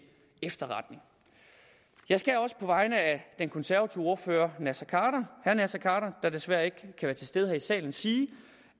efterretning jeg skal også på vegne af den konservative ordfører herre naser khader der desværre ikke kan være til stede her i salen sige